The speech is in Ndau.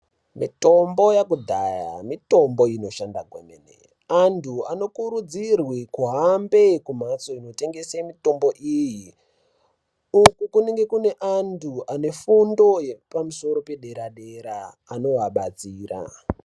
Mitombo yekudhaya mitombo inoshanda kwemene. Antu anokurudzirwe kuhambe kumhatso inotengese mitombo iyi Uku kunenge kune antu anefundo yepamusoro pedera-dera anovabatsira.